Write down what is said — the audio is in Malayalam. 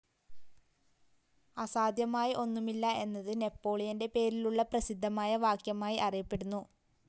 അസാധ്യമായി ഒന്നുമില്ല എന്നത് നെപ്പോളിയന്റെ പേരിലുള്ള പ്രസിദ്ധമായ വാക്യമായി അറിയപ്പെടുന്നു.